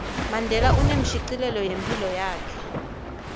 mandela unemshicilelo wephilo yakhe